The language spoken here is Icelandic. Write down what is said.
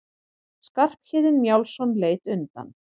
Skarphéðinn Njálsson leit undan.